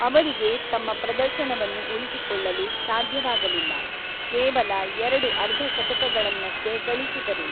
ಅವರಿಗೆ ತಮ್ಮ ಪ್ರದರ್ಶನವನ್ನು ಉಳಿಸಿಕೊಳ್ಳಲು ಸಾಧ್ಯವಾಗಲಿಲ್ಲ, ಕೇವಲ ಎರಡು ಅರ್ಧಶತಕಗಳನ್ನಷ್ಟೇ ಗಳಿಸಿದರು.